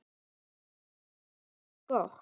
Hvað segi ég gott?